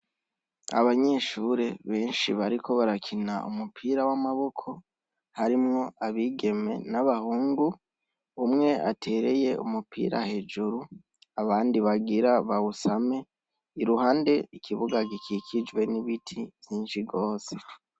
Abanyeshure benshi bariko barakina umupira wamaboko harimwo abigeme nabahungu umwe atereye umupira hejuru abandi bagira bawusame iruhande ikibuga gikikijwe nibiti vyinshi gose